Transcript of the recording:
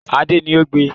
Adé ni o gbe